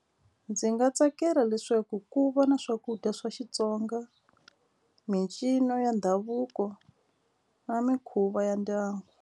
Ndzi nga tsakela leswaku ku va na swakudya swa Xitsonga mincino ya ndhavuko na mikhuva ya ndyangu.